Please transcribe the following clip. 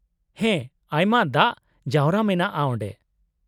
-ᱦᱮᱸ, ᱟᱭᱢᱟ ᱫᱟᱜ ᱡᱟᱣᱨᱟ ᱢᱮᱱᱟᱜᱼᱟ ᱚᱸᱰᱮ ᱾